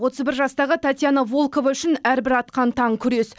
отыз бір жастағы татьяна волкова үшін әрбір атқан таң күрес